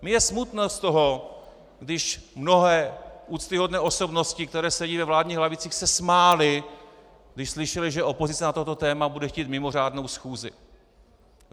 Mně je smutno z toho, když mnohé úctyhodné osobnosti, které sedí ve vládních lavicích, se smály, když slyšely, že opozice na toto téma bude chtít mimořádnou schůzi.